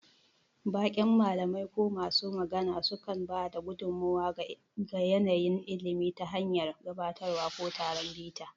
Baƙin malamai ko masu magana sukan ba da gudummawa ga yanayin ilimi ta hanyar gabatarwa ko taron bita.